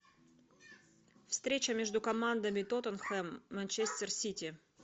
встреча между командами тоттенхэм манчестер сити